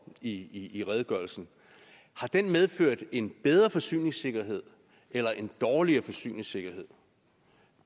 i i redegørelsen medført en bedre forsyningssikkerhed eller en dårligere forsyningssikkerhed